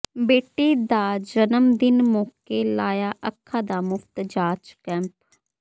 ਬੇਟੀ ਦਾ ਜਨਮਦਿਨ ਮੌਕੇ ਲਾਇਆ ਅੱਖਾਂ ਦਾ ਮੁਫ਼ਤ ਜਾਂਚ ਕੈਂਪ